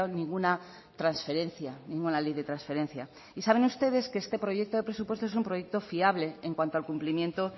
ninguna transferencia ninguna ley de transferencia y saben ustedes que este proyecto de presupuestos es un proyecto fiable en cuanto al cumplimiento